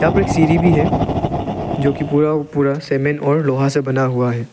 यहा पे एक सीढ़ी भी है जो कि पूरा का पूरा लोहा और सीमेंट से बना हुआ है।